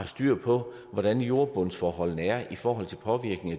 styr på hvordan jordbundsforholdene er i forhold til påvirkning